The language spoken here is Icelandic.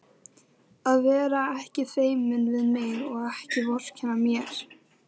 Að vera ekki feiminn við mig og ekki vorkenna mér!